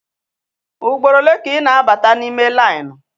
Ugboro ole ka ị na-abata n'ime lainụ?